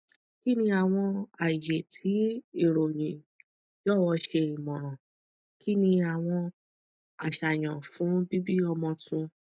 kini awọn aye ti irọyin jọwọ ṣe imọran kini awọn aṣayan fun bibi ọmọ tun